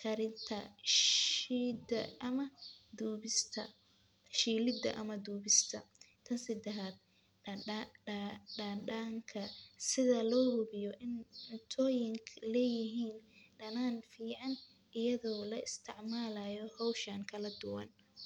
karinta shiida ama dubista shiilida ama dubista tan sadexaad dadanka sida lo hubiyo cuntooyinka leeyihin danaan fican iyado la isticmaalayo howshan kala duwan.